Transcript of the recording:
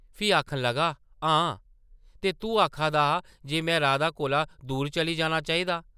फ्ही आखन लगा, हां, ते तूं आखा दा हा जे में राधा कोला दूर चली जाना चाहिदा ।